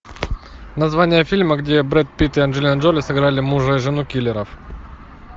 название фильма где брэд питт и анджелина джоли сыграли мужа и жену киллеров